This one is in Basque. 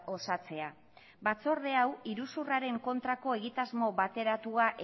osatzea batzorde hau iruzurraren kontrako egitasmo bateratua